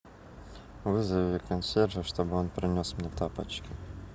вызови консьержа чтобы он принес мне тапочки